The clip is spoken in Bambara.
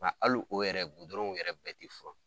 Nka ali o yɛrɛ gudɔrɔnw yɛrɛ bɛɛ te furan